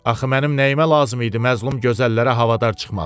Axı mənim nəyimə lazım idi məzlum gözəllərə havadar çıxmaq?